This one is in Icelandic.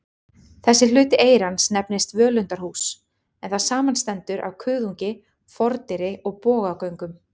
Þessi hluti eyrans nefnist völundarhús, en það samanstendur af kuðungi, fordyri og bogagöngum.